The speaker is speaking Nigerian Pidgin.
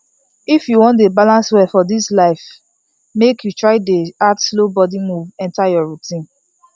if you wan dey balance well for this life make you try dey add slow body move enter your routine